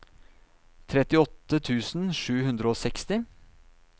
trettiåtte tusen sju hundre og seksti